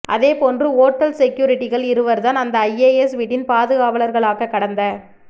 அதேபோன்று ஓட்டல் செக்யூரிட்டிகள் இருவர்தான் அந்த ஐஏஎஸ் வீட்டின் பாதுகாவலர்களாக கடந்த